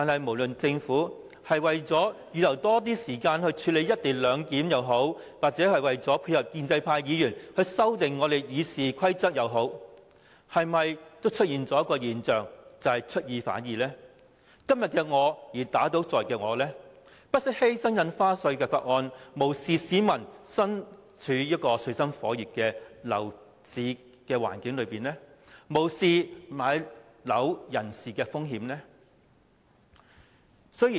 不論政府是為了預留更多時間處理"一地兩檢"，還是配合建制派議員修訂《議事規則》，提出休會待續的議案，已反映政府出爾反爾，以今天的我打倒昨天的我，不惜犧牲《條例草案》，無視市民身處水深火熱的樓市環境，亦無視買樓人士的困境。